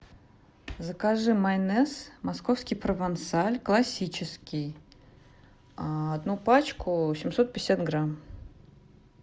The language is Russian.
закажи майонез московский провансаль классический одну пачку семьсот пятьдесят грамм